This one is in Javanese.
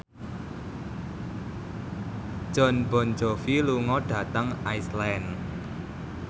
Jon Bon Jovi lunga dhateng Iceland